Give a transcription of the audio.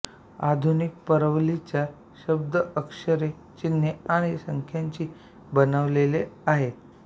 आधुनिक परवलीचा शब्द अक्षरे चिन्ह आणि संख्यांनी बनलेले आहेत